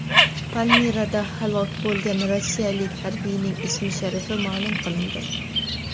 Palmirada halok bo‘lgan rossiyalik harbiyning ismi-sharifi ma’lum qilindi.